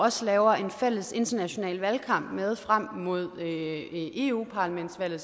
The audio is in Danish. også laver en fælles international valgkamp med frem mod eu parlamentsvalget